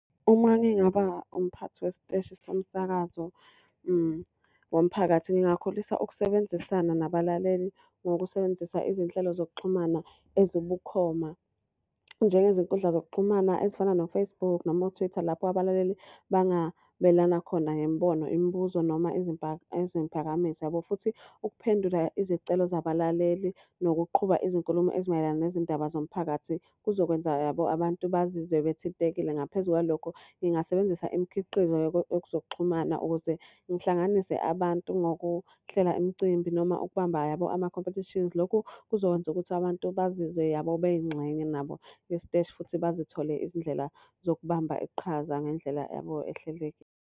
Uma ngingaba umphathi wesiteshi somsakazo womphakathi, ngingakhulisa ukusebenzisana nabalaleli ngokusebenzisa izinhlelo zokuxhumana ezibukhoma. Njengezinkundla zokuxhumana ezifana no-Facebook noma o-Twitter, lapha abalaleli bangabelana khona ngemibono, imibuzo noma izimphakamiso yabo. Futhi ukuphendula izicelo zabalaleli nokuqhuba izinkulumo ezimayelana nezindaba zomphakathi kuzokwenza yabo abantu bazizwe bethintekile. Ngaphezu kwalokho ngingasebenzisa imikhiqizo yezokuxhumana ukuze ngihlanganise abantu ngokuhlela imicimbi noma okubambayo yabo amakhompethishinsi. Lokhu kuzokwenza ukuthi abantu bazizwe yabo beyingxenye nabo yesiteshi futhi bazithole izindlela zokubamba iqhaza ngendlela yabo .